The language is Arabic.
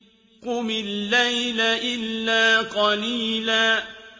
قُمِ اللَّيْلَ إِلَّا قَلِيلًا